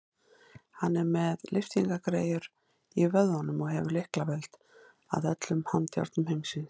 Hann er með lyftingagræjur í vöðvunum og hefur lyklavöld að öllum handjárnum heimsins.